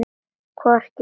Hvort ég vil!